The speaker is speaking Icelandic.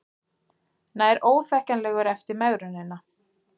Nær óþekkjanlegur eftir megrunina